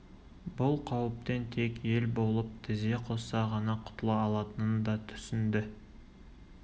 бұл қауіптен тек ел болып тізе қосса ғана құтыла алатынын да түсінді